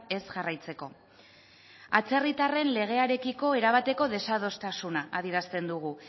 ez jarraitzeko atzerritarren legearekiko erabateko desadostasuna adierazten dugu